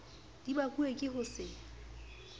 di bakuwe ke ho se